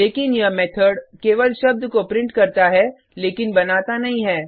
लेकिन यह मेथड केवल शब्द को प्रिंट करता है लेकिन बनाता नहीं है